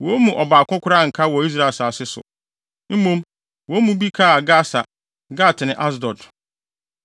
Wɔn mu ɔbaako koraa anka wɔ Israel asase so, mmom, wɔn mu bi kaa Gasa, Gat ne Asdod.